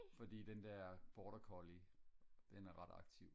fordi den der border collie den er ret aktiv